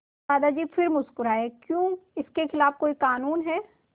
दादाजी फिर मुस्कराए क्यों इसके खिलाफ़ कोई कानून है